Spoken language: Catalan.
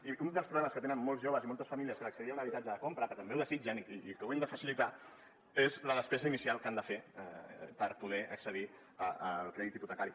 i un dels problemes que tenen molts joves i moltes famílies per accedir a un habitatge de compra que també ho desitgen i ho hem de facilitar és la despesa inicial que han de fer per poder accedir al crèdit hipotecari